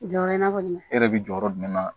Jɔyɔrɔ in na kɔni e yɛrɛ bɛ jɔyɔrɔ jumɛn na